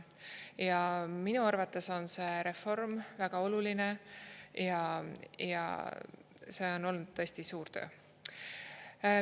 Ja minu arvates on see reform väga oluline ja see on olnud tõesti suur töö.